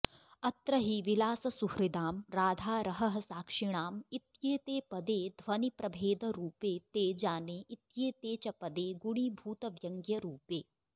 अत्र हि ॑विलाससुहृदाम्॑ ॑ राधारहःसाक्षिणाम्॑ इत्येते पदे ध्वनिप्रभेदरूपे ॑ते॑ ॑जाने॑ इत्येते च पदे गुणीभूतव्यङ्ग्यरूपे